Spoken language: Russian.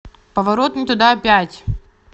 поворот не туда пять